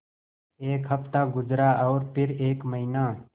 एक हफ़्ता गुज़रा और फिर एक महीना